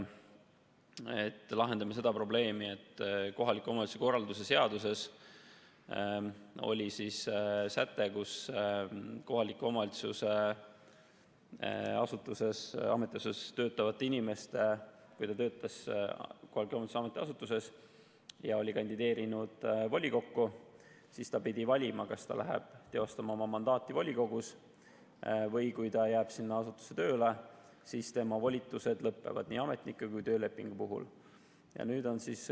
Me lahendame seda probleemi, et kohaliku omavalitsuse korralduse seaduses oli säte, mille järgi inimene, kui ta töötas KOV‑i ametiasutuses ja oli kandideerinud volikokku, pidi valima, kas ta läheb teostama oma mandaati volikogus või jääb sinna asutusse tööle ja tema volitused lõpevad, nii ametnikuna kui ka töölepinguga töötamise puhul.